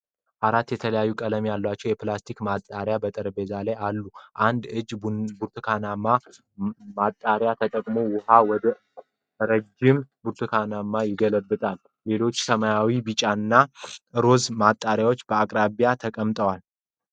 አራት የተለያዩ ቀለሞች ያሏቸው የፕላስቲክ ማጣሪያዎች (Funnel) በጠረጴዛ ላይ አሉ። አንድ እጅ ብርቱካናማ ማጣሪያን ተጠቅሞ ውሃን ወደ ረጅም ብርጭቆ ይገለብጣል። ሌሎች ሰማያዊ፣ ቢጫ እና ሮዝ ማጣሪያዎች በአቅራቢያው ተቀምጠዋል።